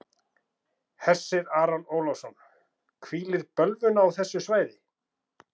Hersir Aron Ólafsson: Hvílir bölvun á þessu svæði?